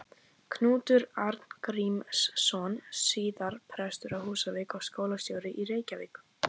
Knútur Arngrímsson, síðar prestur á Húsavík og skólastjóri í Reykjavík.